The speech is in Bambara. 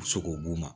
U bɛ se k'o d'u ma